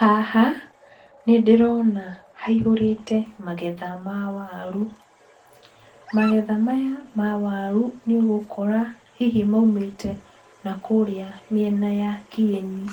Haha nĩndĩrona haihũrĩte magetha ma waru. Magetha maya ma waru nĩũgũkora hihi maumĩte na kũríĩ mĩena ya kĩeni,